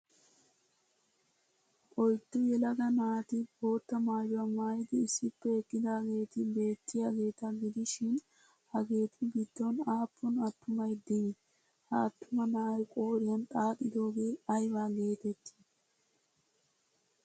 Oyddu yelaga naati bootta maayuwaa maayidi issippe eqqidaageeti beettiyageeta gidishin hageetu giddon aahhun attumay dii? Ha attuma na'ay qooriyan xaaxoogee ayba geettettii?